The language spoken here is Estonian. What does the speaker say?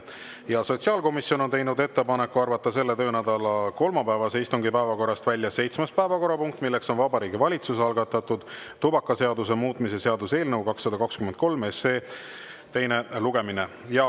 Ja sotsiaalkomisjon on teinud ettepaneku arvata selle töönädala kolmapäevase istungi päevakorrast välja seitsmes päevakorrapunkt, milleks on Vabariigi Valitsuse algatatud tubakaseaduse muutmise seaduse eelnõu 223 teine lugemine.